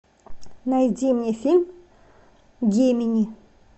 найди мне фильм гемини